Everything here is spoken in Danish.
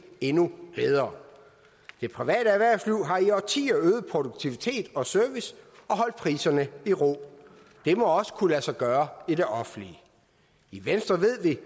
endnu bedre det private erhvervsliv har i årtier øget produktivitet og service og holdt priserne i ro det må også kunne lade sig gøre i det offentlige i venstre ved vi